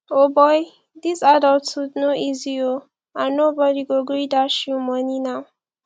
o boy dis adulthood no easy oo and nobody go gree dash you money now